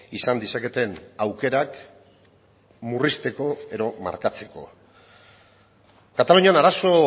izan dezaketen aukerak murrizteko edo markatzeko katalunian arazo